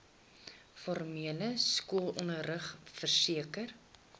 formele skoolonderrig verseker